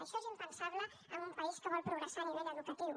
això és impensable en un país que vol progressar a nivell educatiu